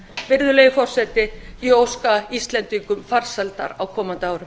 virðulegi forseti ég óska íslendingum farsældar á komandi árum